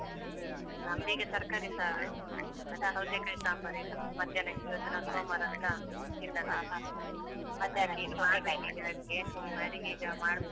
ನಮ್ದ್ ಈಗ ತರಕಾರಿ ಸಾರು. ಅದೇ ಸೌತೆ ಕಾಯಿ ಸಾಂಬಾರ್ ಈಗ ಮಧ್ಯಾಹ್ನಕ್ಕೆ ಇವತ್ತು ನಾವು ಸೋಮವಾರ ಅಂತ ತಿನ್ನಲ್ಲ ಅಡುಗೆ ಈಗ ಮಾಡ್ಬೇಕು.